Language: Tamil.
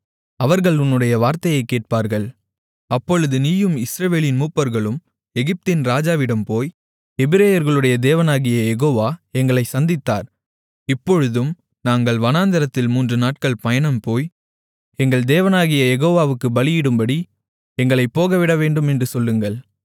அவர்கள் உன்னுடைய வார்த்தையை கேட்பார்கள் அப்பொழுது நீயும் இஸ்ரவேலின் மூப்பர்களும் எகிப்தின் ராஜாவினிடம் போய் எபிரெயர்களுடைய தேவனாகிய யெகோவா எங்களைச் சந்தித்தார் இப்பொழுதும் நாங்கள் வனாந்திரத்தில் மூன்று நாட்கள் பயணம்போய் எங்கள் தேவனாகிய யெகோவாவுக்குப் பலியிடும்படி எங்களைப் போகவிடவேண்டுமென்று சொல்லுங்கள்